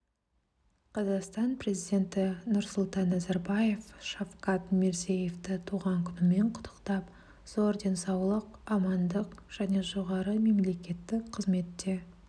қазақстан президенті нұрсұлтан назарбаев шавкат мирзиевті туған күнімен құттықтап зор денсаулық амандық және жоғары мемлекеттік қызметте